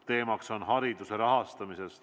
Teemaks on hariduse rahastamine.